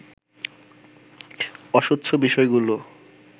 অস্বচ্ছ বিষয়গুলো